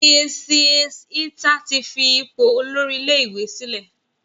Mrs Ita tí fí ipò Olórí ilé ìwé sílè.